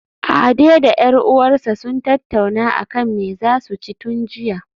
Ade da 'yar uwarsa sun tattauna akan me zasu ci tun jiya